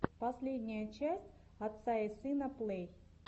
последняя часть отца и сына плэй